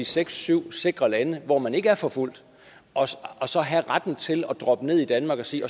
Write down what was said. seks syv sikre lande hvor man ikke er forfulgt og så have retten til at droppe ned i danmark og sige